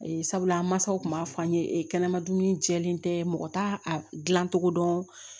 Sabula an mansaw tun b'a fɔ an ye kɛnɛma dumuni jɛlen tɛ mɔgɔ t'a dilan cogo dɔn